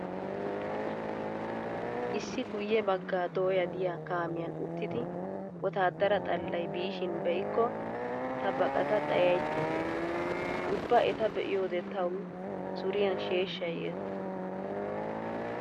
Issi guyye baggaaea dooya diya kaamiyan uttidi wotaaddara xallay biishin be'ikko ta baqata xayaychchays. Ubba eta be'iyode tawu suriyan sheeshshay yees.